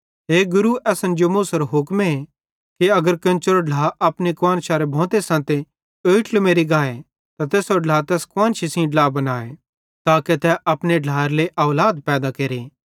हे गुरू असन जो मूसेरो हुक्मे कि अगर केन्चेरो ढ्ला अपनी कुआन्शारे भोंते संते ओईट्ल मेरि गाए त तैसेरो ढ्ला तैस कुआन्शी सेइं ड्ला बनाए ताके तै अपने ढ्लाएरे लेइ औलाद पैदा केरे